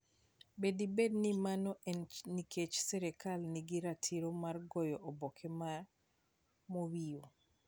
Be dibed ni mano en nikech sirkal nigi ratiro mar goyo oboke mar Mawio?